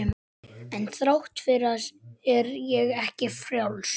En þrátt fyrir það er ég ekki frjáls.